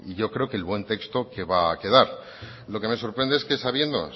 yo creo el buen texto que va a quedar lo que me sorprende es que sabiendo